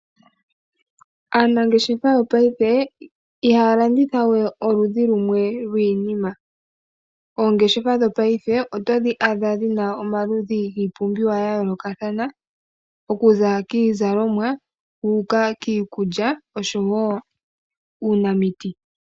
Aanangeshefa yopaife iha ya landitha we oludhi lumwe lwiinima. Oongeshefa dhopaife oto dhi adha dhina omaludhi giipumbiwa ya yoolokathana. Okuza kiizalomwa wuuka kiikulya osho woo uunamiti.